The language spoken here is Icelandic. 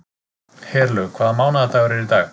Herlaug, hvaða mánaðardagur er í dag?